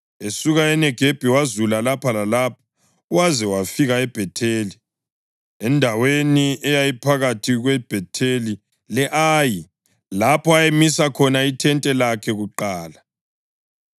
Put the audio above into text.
Esuka eNegebi wazula lapha lalapha waze wafika eBhetheli, endaweni eyayiphakathi kweBhetheli le-Ayi lapho ayemise khona ithente lakhe kuqala